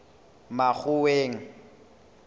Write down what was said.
makgoweng